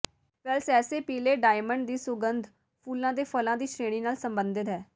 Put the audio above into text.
ਵੈਲਸੈਸੇ ਪੀਲੇ ਡਾਇਮੰਡ ਦੀ ਸੁਗੰਧ ਫੁੱਲਾਂ ਦੇ ਫਲ਼ਾਂ ਦੀ ਸ਼੍ਰੇਣੀ ਨਾਲ ਸੰਬੰਧਿਤ ਹੈ